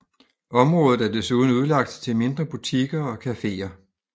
Området er desuden udlagt til mindre butikker og caféer